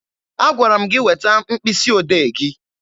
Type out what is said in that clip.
Agwara m gị weta mkpịsị odee gị!